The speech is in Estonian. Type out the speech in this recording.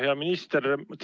Hea minister!